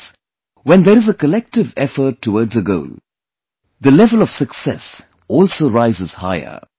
Friends, when there is a collective effort towards a goal, the level of success also rises higher